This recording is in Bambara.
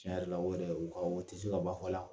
Tiɲɛ yɛrɛ la o yɛrɛ o ka o tɛ se ka ban fɔ la.